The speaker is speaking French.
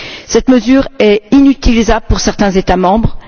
Cette mesure est inutilisable pour certains États membres.